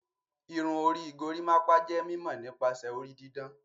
Irun orí gorimopa jé mímó nípasẹ orí didán.